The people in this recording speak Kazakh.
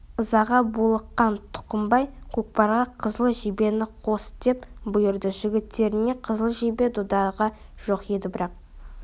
ызаға булыққан тұқымбай көкпарға қызыл жебені қос деп бұйырды жігіттеріне қызыл жебе додаға жоқ еді бірақ